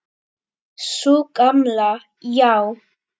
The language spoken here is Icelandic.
Sú gamla, já.